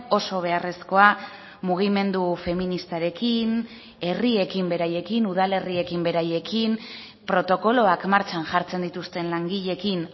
oso beharrezkoa mugimendu feministarekin herriekin beraiekin udalerriekin beraiekin protokoloak martxan jartzen dituzten langileekin